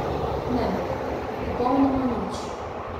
Ne, popolnoma nič.